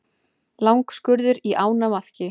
Langskurður á ánamaðki.